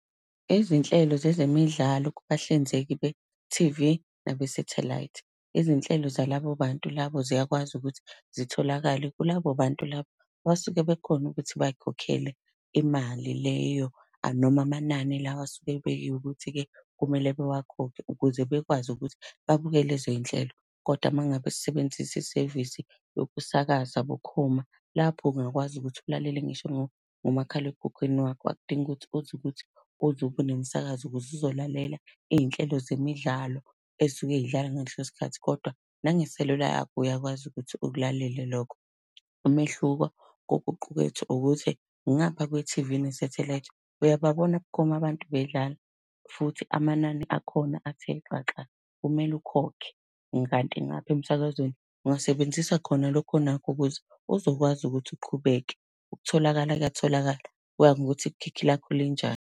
Izinhlelo zezemidlalo kubahlinzeki be-T_V nabesathelayithi. Izinhlelo zalabo bantu labo ziyakwazi ukuthi zitholakale kulabo bantu labo abasuke bekhona ukuthi bay'khokhele imali leyo noma amanani lawa asuke ebekiwe ukuthi-ke kumele bewakhokhe ukuze bekwazi ukuthi babuke lezoy'nhlelo. Kodwa ume ngabe sisebenzisa isevisi yokusakaza bukhoma, lapho ungakwazi ukuthi ulalele ngisho ngomakhalekhukhwini wakho. Akudingi ukuthi kuze kuthi uze ube nemisakazo ukuze uzolalela izinhlelo zemidlalo ey'suke zidlala ngaleso sikhathi, kodwa nangeselula yakho uyakwazi ukuthi ukulalele lokho. Umehluko kokuqukethwe ukuthi ngapha kwe-T_V nesathelayithi uyababona bukhoma abantu bedlala, futhi amanani akhona athe xaxa, kumele ukhokhe. Kanti ngapha emsakazweni ungasebenzisa khona lokho onakho ukuze uzokwazi ukuthi uqhubeke. Ukutholakala kuyatholakala, kuya ngokuthi ikhikhi lakho linjani.